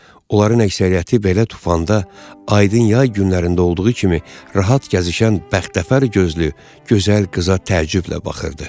Onların əksəriyyəti belə tufanda aydın yay günlərində olduğu kimi rahat gəzişən bəxtəvər gözlü, gözəl qıza təəccüblə baxırdı.